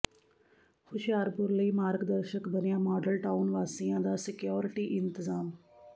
ਹੁਸ਼ਿਆਰਪੁਰ ਲਈ ਮਾਰਗ ਦਰਸ਼ਕ ਬਣਿਆ ਮਾਡਲ ਟਾਊਨ ਵਾਸੀਆਂ ਦਾ ਸਕਿਓਰਟੀ ਇੰਤਜ਼ਾਮ